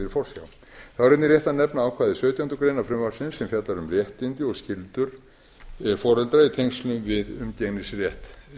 er einnig rétt að nefna ákvæði sautjándu grein frumvarpsins sem fjallar um réttindi og skyldur foreldra í tengslum við umgengnisrétt